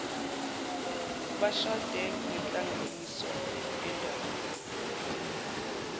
bashade ngenhlanganiso yendabuko